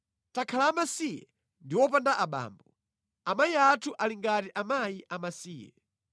Takhala amasiye ndi wopanda abambo, amayi athu ali ngati akazi amasiye.